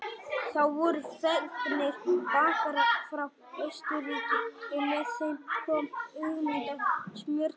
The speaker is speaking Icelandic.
Þá voru fengnir bakarar frá Austurríki og með þeim kom hugmyndin að smjördeigi.